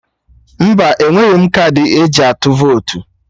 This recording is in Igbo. Mba, enweghị m kaadị eji atụ votu